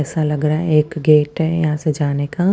एसा लग रहा है एक गेट है यहाँ से जाने का--